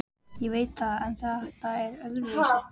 Ég veit það en þetta var öðruvísi.